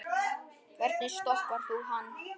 Hvernig stoppar þú hann?